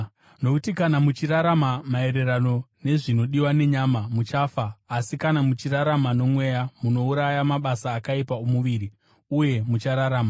Nokuti kana muchirarama maererano nezvinodiwa nenyama, muchafa, asi kana muchirarama noMweya munouraya mabasa akaipa omuviri, uye muchararama,